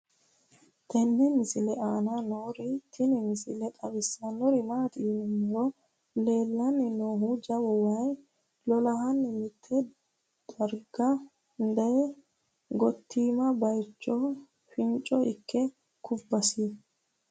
tenne misile aana noorina tini misile xawissannori maati yinummoro leellannonni noohu jawu wayi lolahanni mitto dariga dayi gottimma bayiichcho foonichcho ikke kubbassi